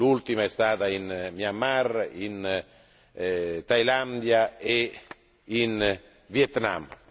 L'ultima è stata in Myanmar, in Thailandia e in Vietnam.